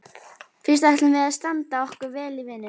Fyrst ætlum við að standa okkur vel í vinnunni.